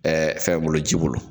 Ɛɛ fɛn bolo ji bolo